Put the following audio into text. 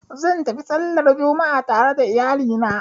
Zan tafi sallar Juma'a tare da iyali na